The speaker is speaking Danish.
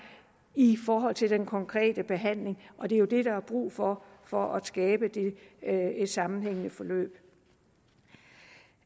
i forhold til den konkrete behandling og det er jo det der er brug for for at skabe et sammenhængende forløb